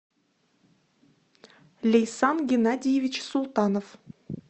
лейсан геннадьевич султанов